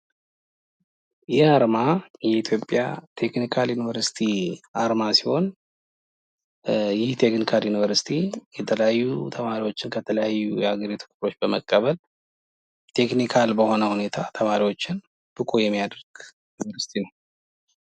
ይህ አርማ የኢትዮጵያ ተክኒካል ዩኒቨርሲቲ አርማ ሲሆን ይህ ቴክኒካል ዩኒቨርሲቲ የተለያዩ ተማሪዎችን ከተለያዩ የሀገሪቱ ክፍሎች በመቀበል ቴክኒካል በሆነ ሁኔታ ተማሪወችን ብቁ የሚያደርግ ዩኒቨርሲቲ ነው።